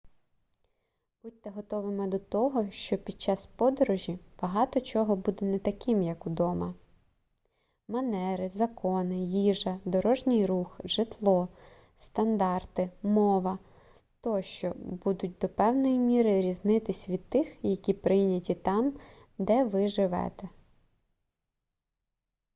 будьте готовими до того що під час подорожі багато чого буде не таким як удома манери закони їжа дорожній рух житло стандарти мова тощо будуть до певної міри різнитись від тих які прийняті там де ви живете